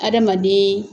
Adamaden